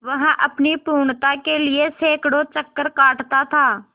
वह अपनी पूर्णता के लिए सैंकड़ों चक्कर काटता था